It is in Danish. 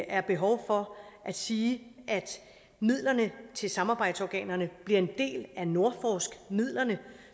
er behov for at sige at midlerne til samarbejdsorganerne bliver en del af nordforsk midlerne